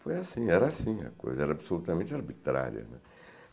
Foi assim, era assim a coisa, era absolutamente arbitrária, né.